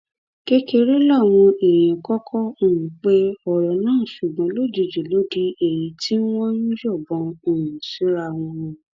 kékeré làwọn èèyàn kọkọ um pe ọrọ náà ṣùgbọn lójijì ló di èyí tí wọn ń yọbọn um síra wọn